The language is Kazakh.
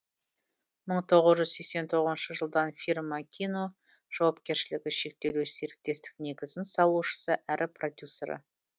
мың тоғыз жүз сексен тоғызыншы жылдан фирма кино жауапкершілік шектеулі серіктестік негізін салушысы әрі продюсері